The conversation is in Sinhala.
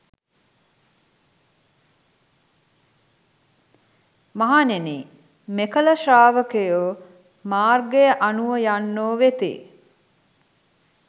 මහණෙනි, මෙකල ශ්‍රාවකයෝ මාර්ගය අනුව යන්නෝ වෙති.